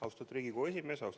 Austatud Riigikogu esimees!